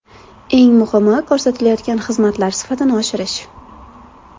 Eng muhimi ko‘rsatilayotgan xizmatlar sifatini oshirish.